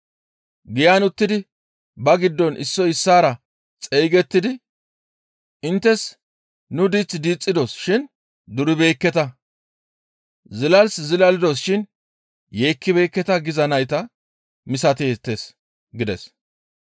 Giyan uttidi ba giddon issoy issaara xeygettidi, ‹Inttes nuni diith diixxidos shin duribeekketa; zilas zilalidos shin yeekkibeekketa giza nayta misateettes› gides.